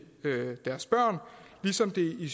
deres børn ligesom det i